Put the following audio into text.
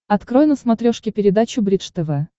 открой на смотрешке передачу бридж тв